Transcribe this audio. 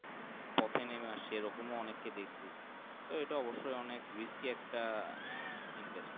সতেই নেমে আসছে এ রকম অনেককে দেখছি এতোই অবশি অনেক risk অনেক Investment